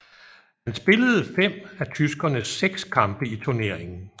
Han spillede fem af tyskernes seks kampe i turneringen